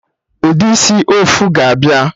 Ụdị isi ọfụ ga abịa